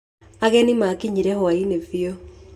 Ageni maakinyire hwaĩ-inĩ fiũ.